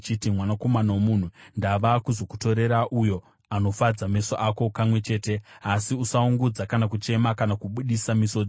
“Mwanakomana womunhu, ndava kuzokutorera uyo anofadza meso ako kamwe chete. Asi usachema kana kuungudza kana kubudisa misodzi.